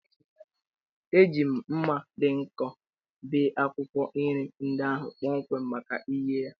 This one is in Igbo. Eji m mma dị nkọ bee akwukwo nri ndị ahụ kpọmkwem maka ighe ya.